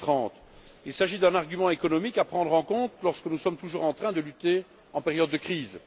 2030. Il s'agit d'un argument économique à prendre en compte alors que nous sommes toujours en train de lutter en période de crise.